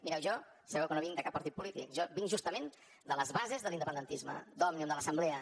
mireu jo sabeu que no vinc de cap partit polític jo vinc justament de les bases de l’independentisme d’òmnium de l’assemblea